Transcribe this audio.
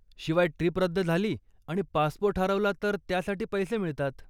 शिवाय, ट्रीप रद्द झाली आणि पासपोर्ट हरवला तर त्यासाठी पैसे मिळतात.